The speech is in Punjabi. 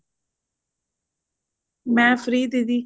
ਮੈਂ free ਦੀਦੀ